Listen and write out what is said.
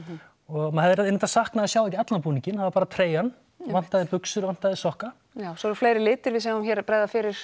og maður hefði reyndar saknað að sjá ekki allan búninginn það var bara treyjan vantaði buxur vantaði sokka já svo eru fleiri litir við sjáum hér bregða fyrir